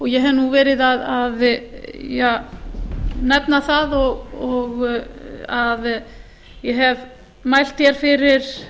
ég hef nú verið að nefna það að ég hef mælt hér fyrir